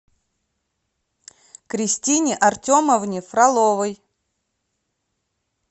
кристине артемовне фроловой